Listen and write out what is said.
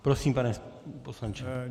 Prosím, pane poslanče.